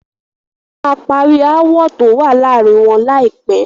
Wọ́n máa parí aáwọ̀ tó wá láàárín wọn láìpé.